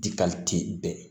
Dikali tɛ bɛɛ